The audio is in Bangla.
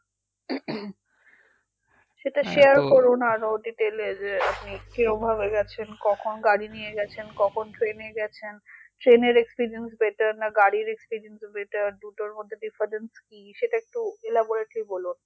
সেটা করো না আরো detail এ যে আপনি কীভাবে যাচ্ছেন কখন গাড়ি নিয়ে যাচ্ছেন কখন train এ যাচ্ছেন train এর experience better না গাড়ির experience better দুটোর মধ্যে difference কি সেটা একটু elaborately বলুন